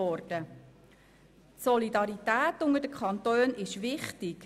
Die Solidarität unter den Kantonen ist wichtig.